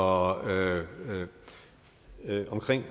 og henrik